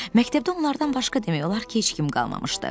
Məktəbdə onlardan başqa demək olar ki, heç kim qalmamışdı.